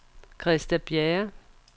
Christa Bjerre